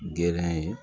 Gɛrɛ ye